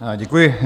Děkuji.